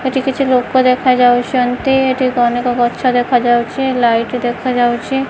ଏଠି କିଛି ଲୋକ ଦେଖା ଯାଉଛନ୍ତି ଏଠି ଅନେକ ଗଛ ଦେଖାଯାଉଛି ଲାଇଟ୍ ଦେଖାଯାଉଛି।